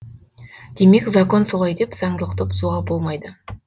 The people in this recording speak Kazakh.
демек закон солай деп заңдылықты бұзуға болмайды